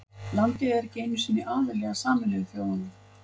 Landið er ekki einu sinni aðili að Sameinuðu þjóðunum.